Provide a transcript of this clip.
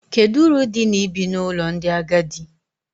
Kedu uru dị na ibi n’ụlọ ndị agadi?